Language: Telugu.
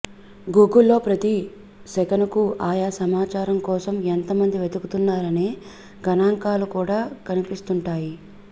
గూగుల్లో ప్రతి సెకనుకూ ఆయా సమాచారం కోసం ఎంత మంది వెతుకుతున్నారనే గణాంకాలు కూడా కన్పిస్తుంటాయి